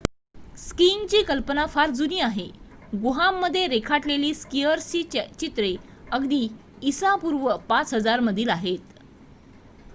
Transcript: स्कीइंगची कल्पना फार जुनी आहे — गुहांमध्ये रेखाटलेली स्कीयर्सची चित्रे अगदी इसा पूर्व ५००० मधील आहेत!